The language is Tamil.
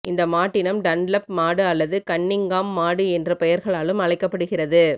இந்த மாட்டினம் டன்லப் மாடு அல்லது கன்னிங்காம் மாடு என்ற பெயர்களாலும் அழைக்கப்படுகிறது